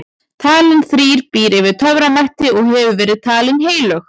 talan þrír býr yfir töframætti og hefur verið talin heilög